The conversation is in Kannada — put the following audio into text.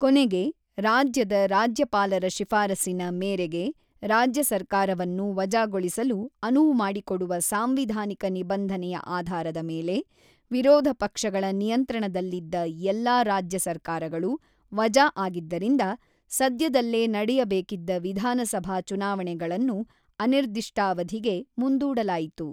ಕೊನೆಗೆ, ರಾಜ್ಯದ ರಾಜ್ಯಪಾಲರ ಶಿಫಾರಸಿನ ಮೇರೆಗೆ ರಾಜ್ಯ ಸರ್ಕಾರವನ್ನು ವಜಾಗೊಳಿಸಲು ಅನುವು ಮಾಡಿಕೊಡುವ ಸಾಂವಿಧಾನಿಕ ನಿಬಂಧನೆಯ ಆಧಾರದ ಮೇಲೆ ವಿರೋಧ ಪಕ್ಷಗಳ ನಿಯಂತ್ರಣದಲ್ಲಿದ್ದ ಎಲ್ಲಾ ರಾಜ್ಯ ಸರ್ಕಾರಗಳು ವಜಾ ಆಗಿದ್ದರಿಂದ ಸದ್ಯದಲ್ಲೇ ನಡೆಯಬೇಕಿದ್ದ ವಿಧಾನಸಭಾ ಚುನಾವಣೆಗಳನ್ನು ಅನಿರ್ದಿಷ್ಟಾವಧಿಗೆ ಮುಂದೂಡಲಾಯಿತು.